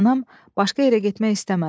Anam başqa yerə getmək istəmədi.